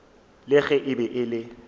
le ge e be e